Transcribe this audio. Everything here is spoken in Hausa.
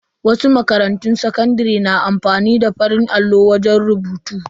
Wasu makarantun sakandare na amfani ne da farin allo wajen rubutu.